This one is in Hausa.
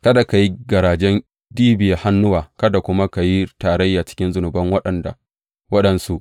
Kada ka yi garajen ɗibiya hannuwa, kada kuma ka yi tarayya a cikin zunuban waɗansu.